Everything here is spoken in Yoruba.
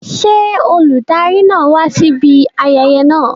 Ṣé olùdarí náà wá síbi ayẹyẹ náà?